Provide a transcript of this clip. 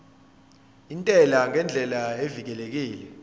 intela ngendlela evikelekile